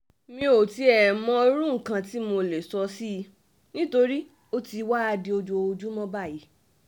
mi ò tiẹ̀ mọ irú nǹkan tí mo lè sọ sí i nítorí ó ti wáá di ojoojúmọ́ báyìí